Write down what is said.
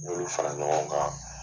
N b'olu fara ɲɔgɔn kan.